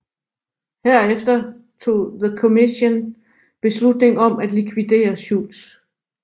Herefter tog The Commission beslutning om at likvidere Schultz